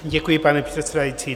Děkuji, paní předsedající.